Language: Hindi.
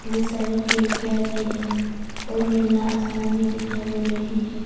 बहोत सारे खिड़कियां भी है और नीला आसमान भी दिखाई मिल रही है।